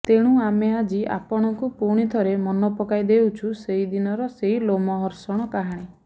ତେଣୁ ଆମେ ଆଜି ଆପଣଙ୍କୁ ପୁଣିଥରେ ମନେ ପକାଇ ଦେଉଛୁ ସେଦିନର ସେଇ ଲୋମହର୍ଷଣ କାହାଣୀ